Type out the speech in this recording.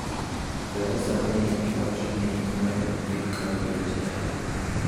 Theresa May wacho ni mae ok bi kawo dweche adek.